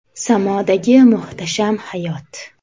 Samodagi muhtasham hayot.